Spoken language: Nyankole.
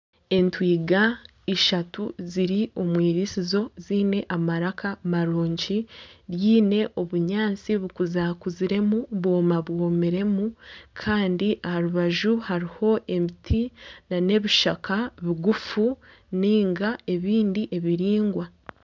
Entwiga ishatu ziri omu irisizo ziine amaraka marungi ryine obunyaasti bukuzakuziremu bwoma bwomiremu Kandi aharubaju hariho emiti nana ebishaka bigufu ninga ebindi ebiringwa.